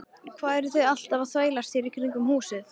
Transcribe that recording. Hvað eruð þið alltaf að þvælast hér í kringum húsið?